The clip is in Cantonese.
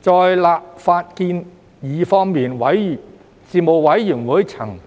在立法建議方面，事務委員會曾